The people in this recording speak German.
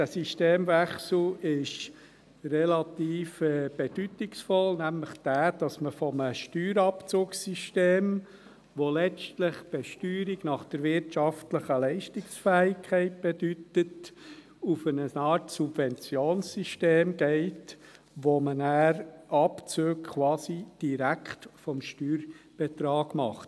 Dieser Systemwechsel ist relativ bedeutungsvoll, nämlich dahingehend, dass man von einem Steuerabzugssystem, welches letztlich Besteuerung nach wirtschaftlicher Leistungsfähigkeit bedeutet, auf eine Art Subventionssystem wechselt, bei dem man dann quasi Abzüge direkt vom Steuerbetrag vornimmt.